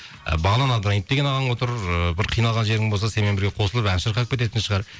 ы бағлан абдраимов деген ағаң отыр ыыы бір қиналған жерің болса сенімен бірге қосылып ән шырқап кететін шығар